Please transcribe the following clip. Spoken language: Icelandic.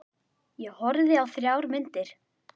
Ég horfði á þrjár myndir.